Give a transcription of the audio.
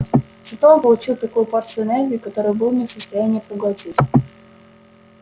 зато он получил такую порцию энергии которую был не в состоянии проглотить